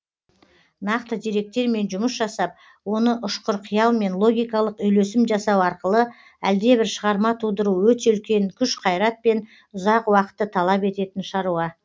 нақты деректермен жұмыс жасап оны ұшқыр қиял мен логикалық үйлесім жасау арқылы әлдебір шығарма тудыру өте үлкен күш қайрат пен ұзақ уақытты талап ететін шаруа